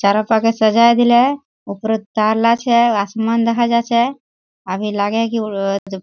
चारो पकाय सजाय दिले ऊपरोत तारला छे आसमान देखा जाछे अभी लागे छे की --